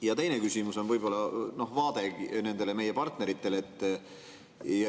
Ja teine küsimus on võib-olla vaate kohta meie partneritele.